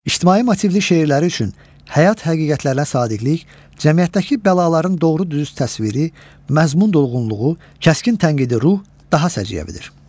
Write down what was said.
İctimai motivli şeirləri üçün həyat həqiqətlərinə sadiqlik, cəmiyyətdəki bəlaların doğru-dürüst təsviri, məzmun dolğunluğu, kəskin tənqidi ruh daha səciyyəvidir.